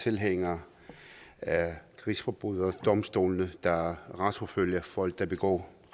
tilhænger af krigsforbryderdomstolene der retsforfølger folk der begår